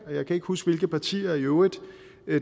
jeg kan ikke huske hvilke partier i øvrigt